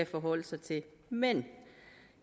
forholde sig til men